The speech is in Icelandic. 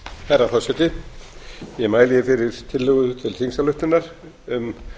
herra forseti ég mæli hér fyrir tillögu til þingsályktunar um